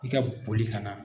I ka boli ka na